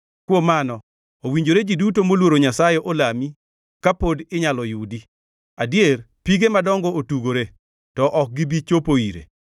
Kuom mano, owinjore ji duto moluoro Nyasaye olami kapod inyalo yudi; adier ka pige madongo otugore, to ok gibi chopo ire,